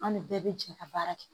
An de bɛɛ bɛ jɛ ka baara kɛ